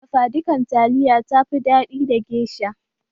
Dafa dukan taliya ya fi daɗi da gesha